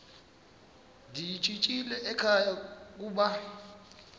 ndiyishiyile ekhaya koba